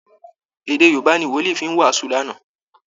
Èdè Yorùbá ni Wòlìí fi wàásù lánàá